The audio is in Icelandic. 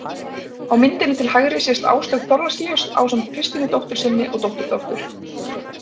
Á myndinni til hægri sést Áslaug Thorlacius ásamt Kristínu dóttur sinni og dótturdóttur.